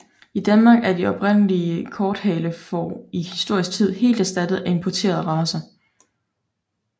I Danmark er de oprindelige korthalefår i historisk tid helt erstattet af importerede racer